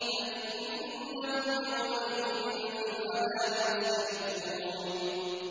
فَإِنَّهُمْ يَوْمَئِذٍ فِي الْعَذَابِ مُشْتَرِكُونَ